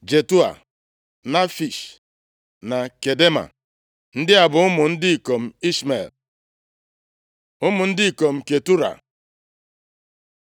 Jetua, Nafish na Kedema. Ndị a bụ ụmụ ndị ikom Ishmel. Ụmụ ndị ikom Ketura